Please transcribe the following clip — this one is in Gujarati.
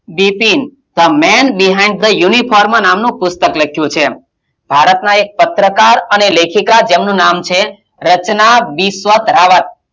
Bipin the men behind the uniform નામનું પુસ્તક લખ્યું છે ભારતનાં એક પત્રકાર અને લેખિકાં જેમનું નામ છે રચના બિસ્વતરાંવત,